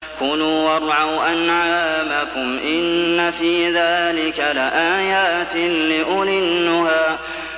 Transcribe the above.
كُلُوا وَارْعَوْا أَنْعَامَكُمْ ۗ إِنَّ فِي ذَٰلِكَ لَآيَاتٍ لِّأُولِي النُّهَىٰ